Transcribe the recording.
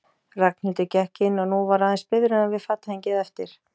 Ragnhildur gekk inn og nú var aðeins biðröðin við fatahengið eftir.